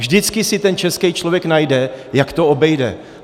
Vždycky si ten český člověk najde, jak to obejde.